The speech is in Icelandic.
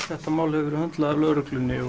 þetta mál hefur verið höndlað af lögreglunni